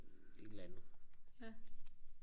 en eller anden